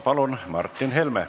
Palun, Martin Helme!